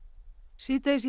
síðdegis í